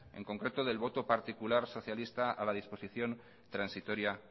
en concreto del voto particular socialista a la exposición transitoria